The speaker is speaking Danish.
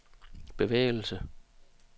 bevægelse